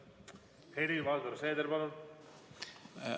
Helir-Valdor Seeder, palun!